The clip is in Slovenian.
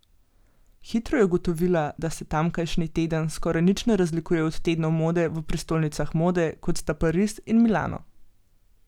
Hitro je ugotovila, da se tamkajšnji teden skoraj nič ne razlikuje od tednov mode v prestolnicah mode, kot sta Pariz in Milano.